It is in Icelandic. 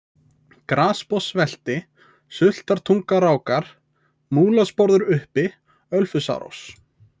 Grasbotnssvelti, Sultartungarákar, Múlasporður uppi, Ölfusárós